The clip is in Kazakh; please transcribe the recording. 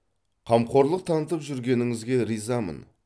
қамқорлық танытып жүргеніңізге ризамын